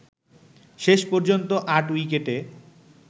শেষ পর্যন্ত ৮ উইকেটে